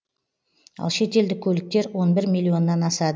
ал шетелдік көліктер он бір миллионнан асады